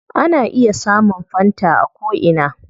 Ana iya samun fanta a ko ina